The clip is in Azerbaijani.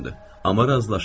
Amma razılaşın.